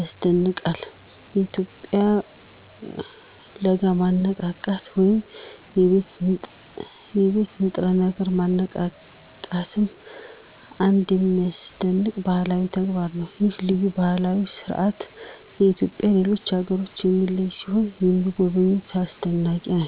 ያስደንቃል። የኢትዮጵያውያን ለጋ ማነቃቃት ወይም የቤት ንጥረ ነገር ማነቃቃትም አንድ የሚያስደንቅ ባህላዊ ተግባር ነው። ይህ ልዩ ባህላዊ ሥርዓት ኢትዮጵያውያንን ከሌሎች አገሮች የሚለይ ሲሆን ለሚጎበኙትም አስደናቂ ነው።